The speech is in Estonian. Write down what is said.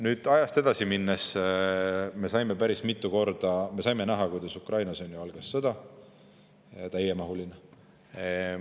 Kui ajas edasi minna, siis me saime näha, kuidas Ukrainas algas täiemahuline sõda.